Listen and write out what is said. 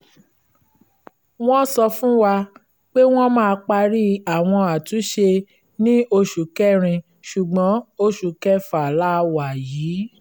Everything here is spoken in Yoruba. wọ́n sọ fún wa pé wọ́n máa parí àwọn àtúnṣe ní oṣù kẹrin ṣùgbọ́n oṣù kẹfà la wà yìí